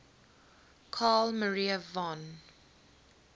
carl maria von